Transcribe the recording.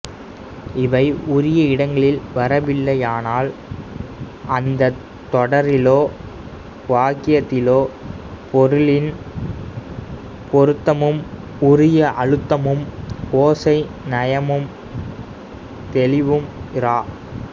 இவை உரிய இடங்களில் வரவில்லையானால் அந்தத் தொடரிலோ வாக்கியத்திலோ பொருளின் பொருத்தமும் உரிய அழுத்தமும் ஓசை நயமும் தெளிவும் இரா